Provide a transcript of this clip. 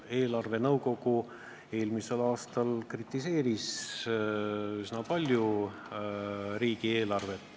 Eelarvenõukogu kritiseeris eelmisel aastal riigieelarvet üsna palju.